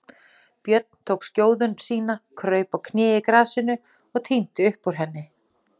Björn tók skjóðu sína, kraup á kné í grasinu og tíndi upp úr henni.